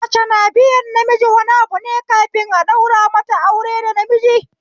Mace na biyan namiji wani abune kafin a daura mata aure da namiji